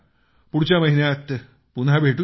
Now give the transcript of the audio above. पुढच्या महिन्यात पुन्हा भेटूया